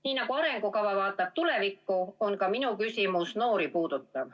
Nii nagu arengukava vaatab tulevikku, puudutab ka minu küsimus noori.